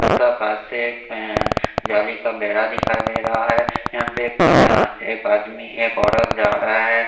उसका पास एक अ गली का बेहरा दिखाई दे रहा हैं यहां पे कुछ एक आदमी एक औरत जा रहा है।